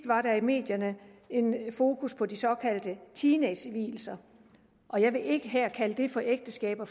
var der i medierne fokus på de såkaldte teenagevielser jeg vil ikke kalde det for ægteskaber